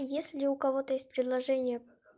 если у кого-то из приложения